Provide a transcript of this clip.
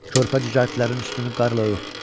Körpə cücərtlərini üstünü qarla ört.